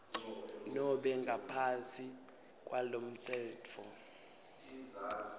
nobe ngaphansi kwalomtsetfo